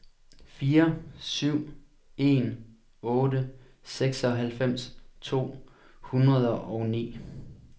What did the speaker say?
fire syv en otte seksoghalvfems to hundrede og ni